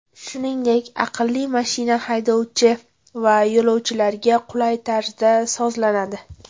Shuningdek, aqlli mashina haydovchi va yo‘lovchilarga qulay tarzda sozlanadi.